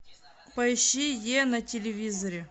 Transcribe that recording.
поищи е на телевизоре